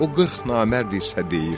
O qırx namərd isə deyir: